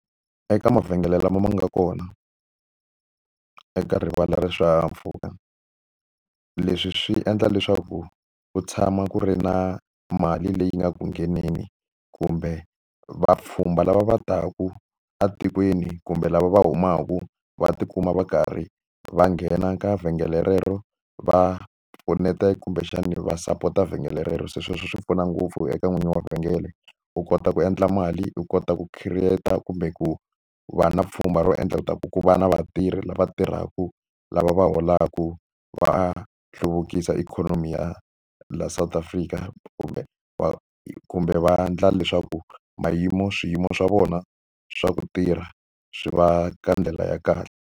Eka mavhengele lama ma nga kona, eka rivala ra swihahampfhuka. Leswi swi endla leswaku ku tshama ku ri na mali leyi nga ku ngheneni kumbe vapfhumba lava va taka etikweni kumbe lava va humaka va tikuma va karhi va nghena ka vhengele rero va pfuneta kumbexani va sapota vhengele relero. Se sweswo swi pfuna ngopfu eka n'winyi wa vhengele, u kota ku endla mali, u kota ku create-a kumbe ku vana pfhumba ro endla leswaku ku va na vatirhi lava tirhaka, lava va holaka va hluvukisa ikhonomi ya laha South Africa. Kumbe va kumbe va endla leswaku swiyimo swa vona swa ku tirha swi va ka ndlela ya kahle.